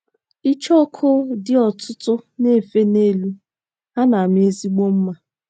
ng! ICHEOKU dị́ ọtụtụ um na - efe n’elu, ha na - ama ezigbo mma.